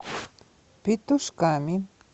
петушками